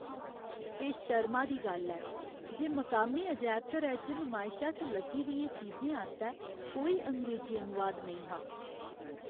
एह् शर्मा दी गल्ल ऐ जे मकामी अजैबघरै च नुमायशा च लग्गी दियें चीजें आस्तै कोई अंग्रेजी अनुवाद नेईं हा।